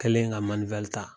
Kɛlen ka ta